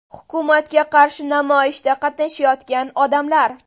Hukumatga qarshi namoyishda qatnashayotgan odamlar.